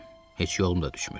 Heç yolum da düşmür.